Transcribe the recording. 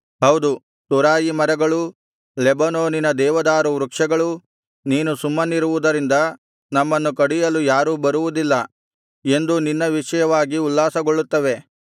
ಹೌದು ತುರಾಯಿ ಮರಗಳೂ ಲೆಬನೋನಿನ ದೇವದಾರು ವೃಕ್ಷಗಳೂ ನೀನು ಸುಮ್ಮನಿರುವುದರಿಂದ ನಮ್ಮನ್ನು ಕಡಿಯಲು ಯಾರೂ ಬರುವುದಿಲ್ಲ ಎಂದು ನಿನ್ನ ವಿಷಯವಾಗಿ ಉಲ್ಲಾಸಗೊಳ್ಳುತ್ತವೆ